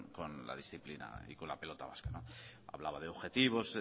con la disciplina y con la pelota vasca hablaba de objetivos